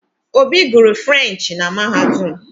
Obi guru Frurenchi na Mahadum